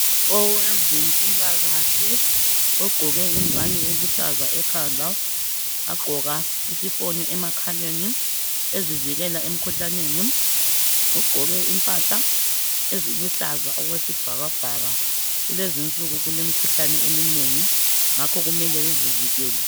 Owezempilakahle ogqoke ingwane eluhlaze ekhanda, wagqoka isifonyo emakhaleni ezivikela emkhuhlaneni ugqoke impahla eziluhlaza okwesibhakabhaka. Kulezi insuku kulemikhuhlane eminengi ngakho kumele bezivikele.